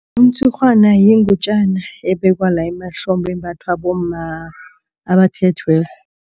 Umtshurhwana yingutjana ebekwa la emahlombe, embathwa bomma abathethweko.